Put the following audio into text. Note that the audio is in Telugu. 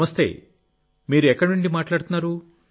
నమస్తే మీరు ఎక్కడ నుండి మాట్లాడుతున్నారు